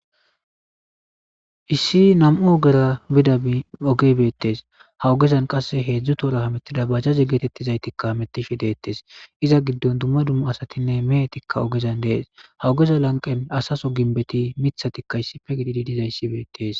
Issi nam'u ogera bida ogey betes ha ogeza qase 3 tohora hutiza bajaje getetiza hamutishe detes izza gidon duma duma duma asitine meheti ogezan detes ha ogeza lanqen asa sohoti mithatika issippe gididi dizaysi betes